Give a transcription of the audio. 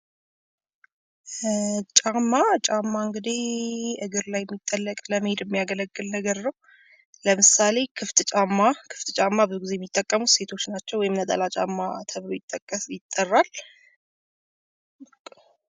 ጫማ ጫማ እንግዲ እግር ላይ የሚጠለቅ ለመሄድ የሚያገለግል ነገር ነው። ለምሳሌ ክፍት ጫማ ክፍት ብዙውን ጊዜ የሚጠቀሙት ሴቶች ናቸው። ወይም ነጠላ ጫማ ተብሎ ይትጠራ።